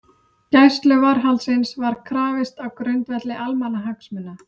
Gæsluvarðhaldsins var krafist á grundvelli almannahagsmuna